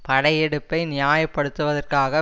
படையெடுப்பை நியாயப் படுத்துவதற்காக